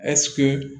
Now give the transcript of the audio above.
Ɛseke